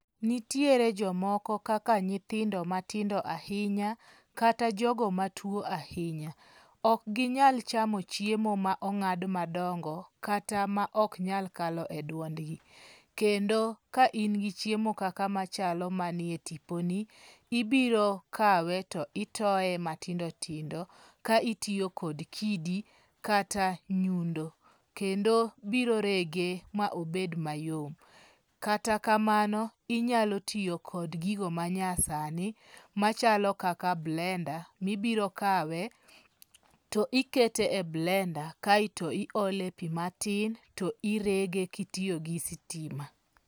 Nitiere jomoko kaka nyithindo matindo ahinya kata jogo matuo ahinya. Ok ginyal chamo chiemo ma ong'ad madongo kata ma ok nyal kalo e duongdi. Kendo ka in gi chiemo kaka machalo manie tipo ni, ibiro kawe to itoye matindo tindo ka itiyo kod kidi kata nyundo. Kendo biro rege ma obed mayom. Kata kamano, inyalo tiyo kod gigo ma nya sani machalo kaka blenda. Mibiro kawe to ikete e blenda kaeto i ole pi matin to irege kitiyo gi sitima.